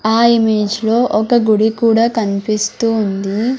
ఆ ఇమేజ్ లో ఒక గుడి కూడా కనిపిస్తూ వుంది.